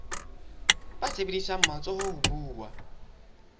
ba sebedisang matsoho ho buwa